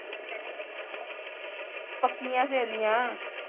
ਪੱਕੀਆਂ ਸਹੇਲੀਆਂ